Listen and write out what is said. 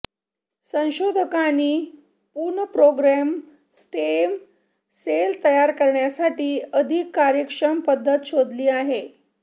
संशोधकांनी पुनर्प्रोग्राम्य stem cell तयार करण्यासाठी अधिक कार्यक्षम पद्धत शोधली आहे